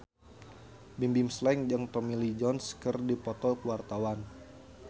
Bimbim Slank jeung Tommy Lee Jones keur dipoto ku wartawan